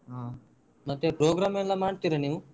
ಹಾ ಮತ್ತೆ program ಎಲ್ಲ ಮಾಡ್ತೀರಾ ನೀವು?